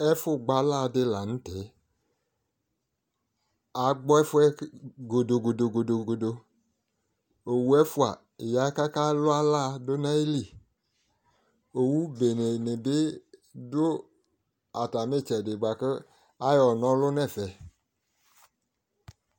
ɛfo gbɔ ala di lantɛ agbɔ ɛfoɛ godo godo godo godo owu ɛfoa ya ko aka lo ala do no ayili owu bene ni bi do atami itsɛdi boa ko ayɔ na ɔlo no ɛfɛ